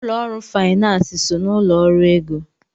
Ụlọ ọrụ finansi so n'ụlọ ọrụ ego.